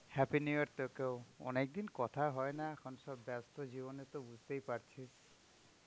happy new year তোকেও. অনেক দিন কথা হয় না এখন সব ব্যাস্ত জীবনে তো বুঝতে এ পারছিস.